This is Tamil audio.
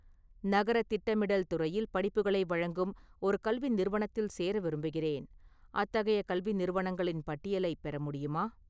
நகரத் திட்டமிடல் துறையில் படிப்புகளை வழங்கும் ஒரு கல்வி நிறுவனத்தில் சேர விரும்புகிறேன், அத்தகைய கல்வி நிறுவனங்களின் பட்டியலைப் பெற முடியுமா?